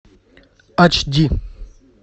айч ди